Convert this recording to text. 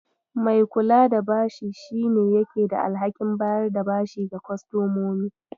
Mai kula da bashi shi ne yake da alhakin bayar da bashi ga kostomomi.